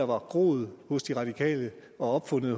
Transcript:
var groet hos de radikale og opfundet